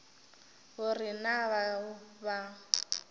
go re na bao ba